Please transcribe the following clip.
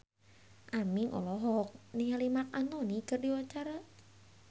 Aming olohok ningali Marc Anthony keur diwawancara